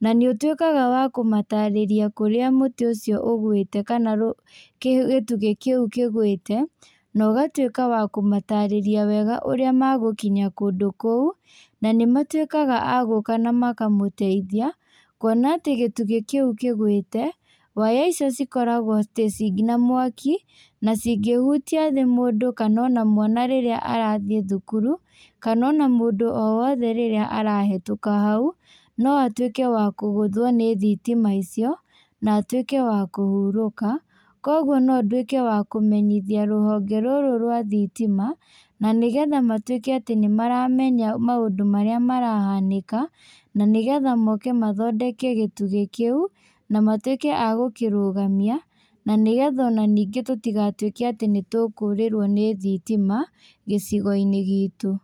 na nĩũtuĩkaga wa kũmatarĩria kũrĩa mũtĩ ũcio ũgwĩte, kana rũ kĩ gĩtugĩ kĩũ kĩgwĩte, na ũgatuĩka wa kũmatarĩrĩa wega ũrĩa magũkinya kũndũ kũu, na nĩmatuĩkaga a gũka namakamũteithia, kuona atĩ gĩtugĩ kĩũ kĩgwĩte, waya icio cikoragwo tĩ ci nginya mwaki, na cingĩhutio nĩ mũndũ kana ona mwana rĩrĩa arathiĩ thukuru, kana ona mũndũ o wothe rĩrĩa arahetũka hau, no atuĩke wa kũgũthwo nĩ thitima icio, na atuĩke wa kũhurũka, koguo no nduĩke wa kũmenyithia rũhonge rũrũ rwa thitima, na nĩgetha matuĩke atĩ nĩmaramenya maũndũ marĩa marahanĩka, na nĩgetha moke mathondeke gĩtugĩ kĩu, na matuĩke a gũkĩrũgamia, na nĩgetha ona ningĩ tũtigatuĩke atĩ nĩtũkũrĩrwo nĩ thitima gĩcigoinĩ gitũ.